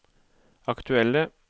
aktuelle